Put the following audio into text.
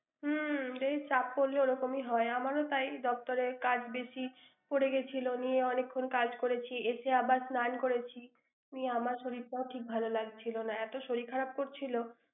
হম চাপ পরলে ওরকমই হয়। আমারও তাই, দপ্তরের কাজ বেশি পরে গিয়েছিল নিয়ে অনেকক্ষণ কাজ করেছি, এসে আবার স্নান করেছি, নিয়ে আমার শরীরটাও ঠিক ভাল লাগছিল না। এত শরীর খারাপ করছিল!